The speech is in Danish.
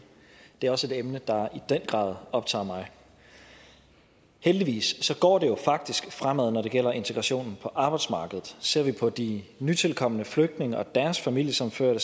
det er også et emne der i den grad optager mig heldigvis går det jo faktisk fremad når det gælder integrationen på arbejdsmarkedet ser vi på de nytilkomne flygtninge og deres familiesammenførte